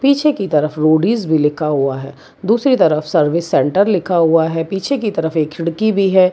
पीछे की तरफ रोडीस भी लिखा हुआ है दूसरी तरफ सर्विस सेंटर लिखा हुआ है पीछे की तरफ एक खिड़की भी है।